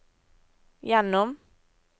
gjennom